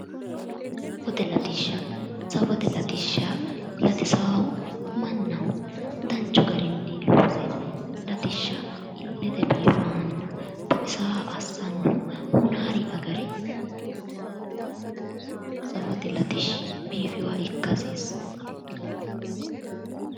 Safote latishsha safote latishsha latisaahu mannaho danchu garinni loose latishsha illete biifahanna baxisaaha assannohu hunaari agare safote latishshi biifeyooha ikka hasiissanno